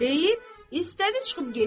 Deyib, istədi çıxıb getsin.